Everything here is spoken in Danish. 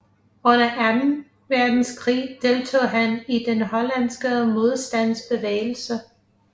Under anden verdenskrig deltog han i den hollandske modstandsbevægelse